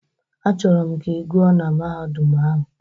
Achọrọ m ka ị gụọ na Mahadum ahụ!